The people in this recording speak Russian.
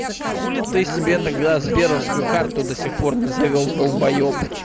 хули ты себе тогда сберовскую карту до сих пор не завёл долбаёб